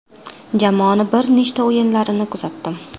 Jamoani bir nechta o‘yinlarini kuzatdim.